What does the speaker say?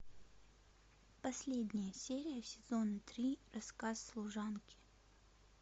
последняя серия сезона три рассказ служанки